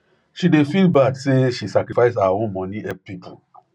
she dey feel bad say she sacrifice her own money help people